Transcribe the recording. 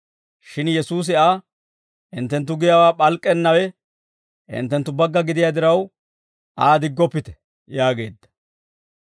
Shin Yesuusi Aa, «Hinttenttu giyaawaa p'alk'k'ennawe hinttenttu bagga gidiyaa diraw, Aa diggoppite» yaageedda.